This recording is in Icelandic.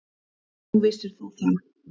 Nú, vissir þú það?